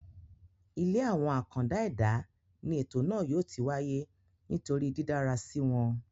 ilé àwọn àkàndá ẹ̀dá ní ètò náà yóò ti wáyé nítorí dídára síi wọn